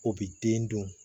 O bi den dun